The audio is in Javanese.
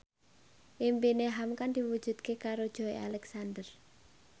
impine hamka diwujudke karo Joey Alexander